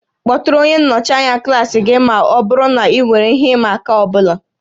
Kpọtụrụ onye nnọchi anya klaasị gị ma ọ bụrụ na ị nwere ihe ịma aka ọ bụla